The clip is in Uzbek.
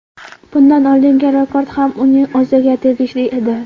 Bundan oldingi rekord ham uning o‘ziga tegishli edi.